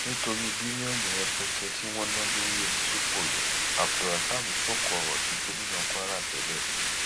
nítorí bílíọnù rẹpẹtẹ tí wọn ná lórí omi tí kò yọ abdulrasaq sóko ọrọ sí gómìnà kwara tẹlẹ